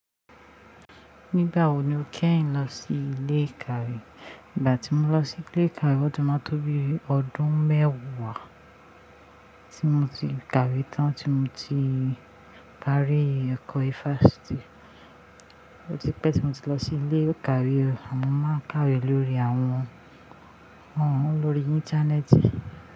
Nígbà wo ni o kẹ́yin lọ sí ilé ìkàwé? Ìgbà tí mo lọ sí ilé ìkàwé, ó ti máa tó bí i ọdún mẹ́wàá tí mo ti kàwé tán tí mo ti parí ẹ̀kọ́ ifásitì. Ó ti pẹ́ tí mo ti lọ sí ilé ìkàwé, àmọ́ máa ń kàwé lórí àwọn ohùn, lórí Íńtánẹ́ẹ̀tì.